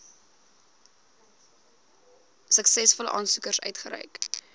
suksesvolle aansoekers uitgereik